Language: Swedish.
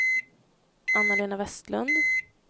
Anna-Lena Westlund